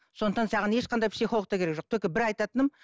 сондықтан саған ешқандай психолог та керек жоқ только бір айтатыным